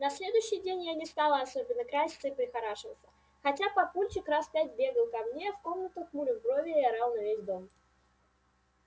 на следующий день я не стала особенно краситься и прихорашиваться хотя папульчик раз пять бегал ко мне в комнату хмурил брови и орал на весь дом